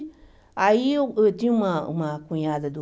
Aí eu eu tinha uma uma cunhada do...